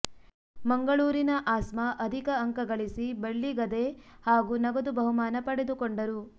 ಮಂಗಳೂರಿನ ಆಸ್ಮಾ ಅಧಿಕ ಅಂಕ ಗಳಿಸಿ ಬೆಳ್ಳಿ ಗದೆ ಹಾಗೂ ನಗದು ಬಹುಮಾನ ಪಡೆದುಕೊಂಡರು